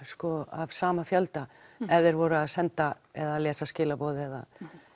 af sama fjölda ef þeir voru að senda eða lesa skilaboð eða